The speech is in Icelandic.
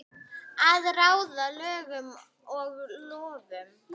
Að ráða lögum og lofum.